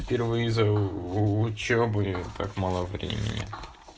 впервые за учёбу и так мало времени